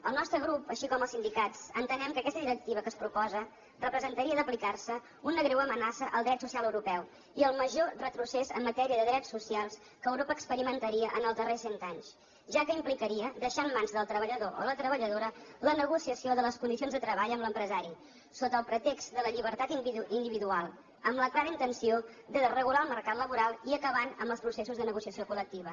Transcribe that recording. el nostre grup així com els sindicats entenem que aquesta directiva que es proposa representaria si s’apliqués una greu amenaça al dret social europeu i el major retrocés en matèria de drets socials que europa experimentaria en els darrers cent anys ja que implicaria deixar en mans del treballador o la treballadora la negociació de les condicions de treball amb l’empresari sota el pretext de la llibertat individual amb la clara intenció de desregular el mercat laboral i acabar amb els processos de negociació col·lectiva